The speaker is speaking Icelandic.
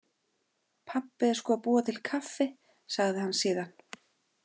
Pabbi er sko að búa til kaffi, sagði hann síðan.